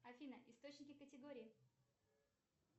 афина источники категории